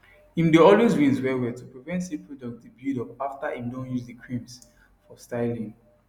im dae always rinse wellwell to prevent say products dae build up after im don use the creams for styling